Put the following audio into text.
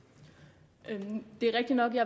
mener